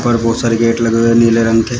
पर बहुत सारे गेट लगे हुए है नीले रंग के--